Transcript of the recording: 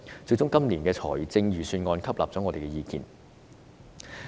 最終今年的預算案採納了我們的意見。